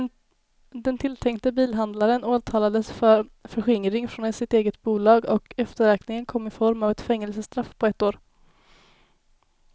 Den tilltänkte bilhandlaren åtalades för förskingring från sitt eget bolag och efterräkningen kom i form av ett fängelsestraff på ett år.